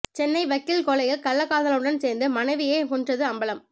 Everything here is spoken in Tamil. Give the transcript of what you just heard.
சென்னை வக்கீல் கொலையில் கள்ளக்காதலனுடன் சேர்ந்து மனைவியே கொன்றது அம்பலம்